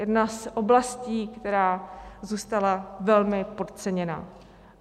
Jedna z oblastí, která zůstala velmi podceněna.